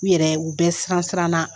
U yɛrɛ u bɛ siran siran na.